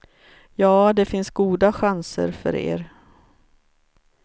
Ja, det finns goda chanser för er.